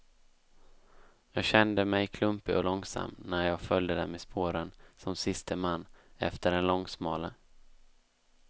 Jag kände mig klumpig och långsam när jag följde dem i spåren som siste man efter den långsmale.